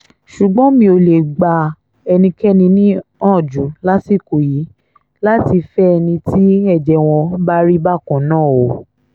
ṣùgbọ́n mi ò lè gba ẹnikẹ́ni níyànjú lásìkò yìí láti fẹ́ ẹni tí ẹ̀jẹ̀ wọn bá rí bákan náà o